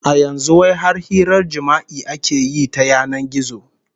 A yanzu wai har hirar jima'i ake yi ta yanan gizo